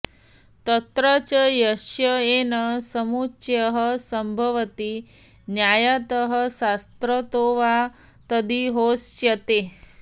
तत्र च यस्य येन समुच्चयः सम्भवति न्यायतः शास्त्रतो वा तदिहोच्यते